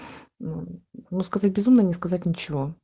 мм ну сказать безумно не сказать ничего